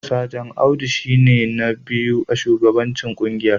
Sajan Audu shi ne na biyu a shugabancin kungiyar